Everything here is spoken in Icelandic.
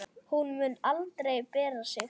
Hún mun aldrei bera sig.